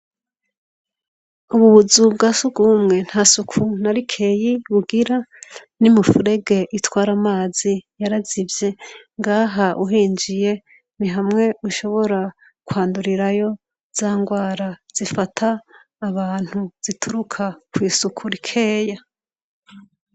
Ubu buzu bwa sugumwe nta suku na rikeyi bugira, n'imifurege itwara amazi yarazivye. Ngaha uhinjiye ni hamwe ushobora kwandurirayo za ngwara zifata abantu zituruka kw'isuku rikeya.